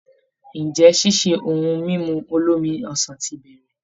Ǹjẹ́ ṣíṣe ohun mímu olómi ọsàn ti bẹ̀rẹ̀?